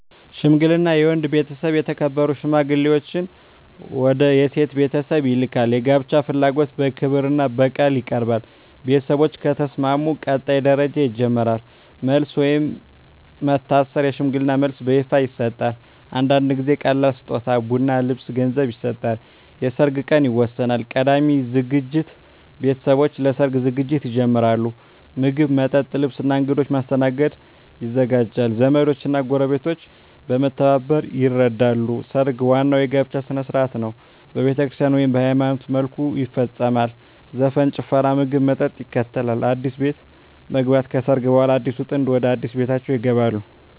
ሽምግልና የወንድ ቤተሰብ የተከበሩ ሽማግሌዎችን ወደ የሴት ቤተሰብ ይልካል። የጋብቻ ፍላጎት በክብርና በቃል ይቀርባል። ቤተሰቦች ከተስማሙ ቀጣይ ደረጃ ይጀምራል። መልስ (ወይም መታሰር) የሽምግልና መልስ በይፋ ይሰጣል። አንዳንድ ጊዜ ቀላል ስጦታ (ቡና፣ ልብስ፣ ገንዘብ) ይሰጣል። የሰርግ ቀን ይወሰናል። ቀዳሚ ዝግጅት ቤተሰቦች ለሰርግ ዝግጅት ይጀምራሉ። ምግብ፣ መጠጥ፣ ልብስ እና እንግዶች ማስተናገድ ይዘጋጃል። ዘመዶች እና ጎረቤቶች በመተባበር ይረዳሉ። ሰርግ ዋናው የጋብቻ ሥነ ሥርዓት ነው። በቤተክርስቲያን (ወይም በሃይማኖታዊ መልኩ) ይፈጸማል። ዘፈን፣ ጭፈራ፣ ምግብና መጠጥ ይከተላል። አዲስ ቤት መግባት (ከሰርግ በኋላ) አዲሱ ጥንድ ወደ አዲስ ቤታቸው ይገባሉ።